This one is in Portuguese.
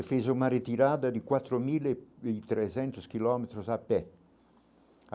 E fez uma retirada de quatro mil e e trezentos quilômetros a pé.